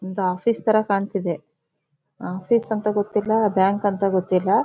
ಒಂದು ಆಫೀಸ್ ತರ ಕಾಣತ್ತಿದೆ ಆಫೀಸ್ ಅಂತ ಗೊತ್ತಿಲ್ಲಾ ಬ್ಯಾಂಕ್ ಅಂತ ಗೊತ್ತಿಲ್ಲಾ.